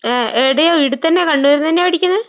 ആഹ്. ഏടെയാ ഈടെത്തന്നെയാ കണ്ണൂര്ന്നന്നെയാ പഠിക്കണെ?